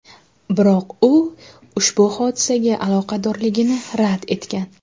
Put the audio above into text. Biroq u ushbu hodisaga aloqadorligini rad etgan.